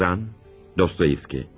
Yazan, Dostoyevski.